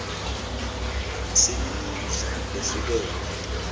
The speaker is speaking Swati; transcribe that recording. singmidla lehlukahlukene